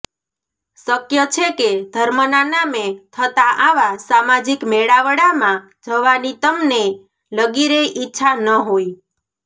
શક્ય છે કે ધર્મના નામે થતા આવા સામાજિક મેળાવડામાં જવાની તમને લગીરેય ઇચ્છા ન હોય